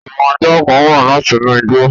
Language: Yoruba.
Àwon ajá kan wa látinú igbó